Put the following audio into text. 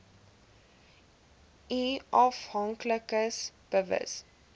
u afhanklikes bewus